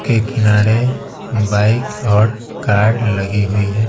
के किनारे बाइक और कार लगी हुई है।